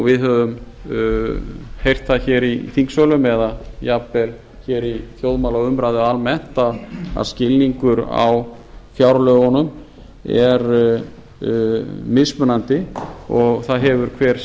við höfum heyrt það hér í þingsölum eða jafnvel hér í þjóðmálaumræðu almennt að skilningur á fjárlögunum er mismunandi og það hefur hver